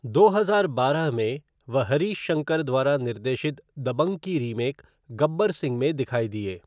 दो हजार बारह में, वह हरीश शंकर द्वारा निर्देशित दबंग की रीमेक गब्बर सिंह में दिखाई दिए।